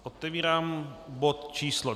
Otevírám bod číslo